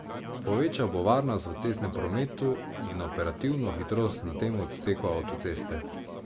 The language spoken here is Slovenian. Povečal bo varnost v cestnem prometu in operativno hitrost na tem odseku avtoceste.